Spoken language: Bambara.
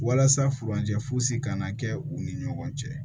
Walasa furancɛ fosi kana kɛ u ni ɲɔgɔn cɛ